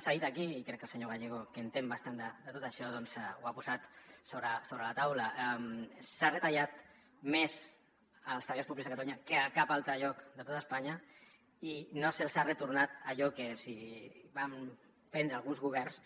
s’ha dit aquí i crec que el senyor gallego que hi entén bastant de tot això doncs ho ha posat sobre la taula s’ha retallat més als treballadors públics a catalunya que a cap altre lloc de tot espanya i no se’ls hi ha retornat allò que els hi van prendre alguns governs